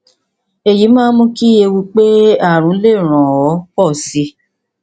èyí máa ń mú kí ewu pé ààrùn lè ràn ọ pọ sí i